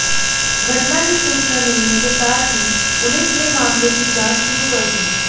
घटना की सूचना मिलने के साथ ही पुलिस ने मामले की जांच शुरू कर दी